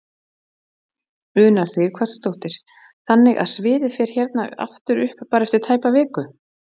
Una Sighvatsdóttir: Þannig að sviðið fer hérna aftur upp bara eftir tæpa viku?